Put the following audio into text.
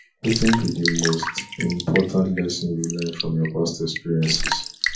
wetin be di most important lesson you learn from your past experiences